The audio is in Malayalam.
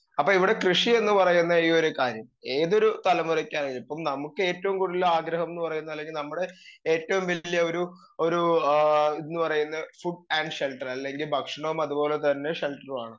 സ്പീക്കർ 2 അപ്പൊ ഇവടെ കൃഷിയെന്ന് പറയുന്ന ഈ ഒരു കാര്യം ഏതൊരു തലമുറക്കകത്തും നമുക്കേറ്റവും കൂടുതൽ ആഗ്രഹം ന്ന് പറയുന്ന അല്ലെങ്കി നമ്മുടെ ഏറ്റോം വലിയൊരു ഒരു ഏ ഇത്ന്ന് പറയുന്നെ ഫുഡ് ആൻഡ് ഷെൽട്ടർ അല്ലെങ്കി ഭക്ഷണോം അത്പോലെ തന്നെ ഷെൽട്ടറുമാണ്